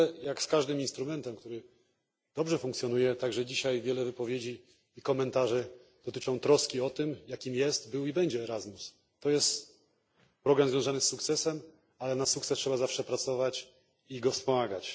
Ale jak z każdym instrumentem, który dobrze funkcjonuje, wiele dzisiejszych wypowiedzi i komentarzy dotyczy także troski o to, jaki jest, był i będzie Erasmus. To jest problem związany z sukcesem, ale na sukces trzeba zawsze pracować i go wspomagać.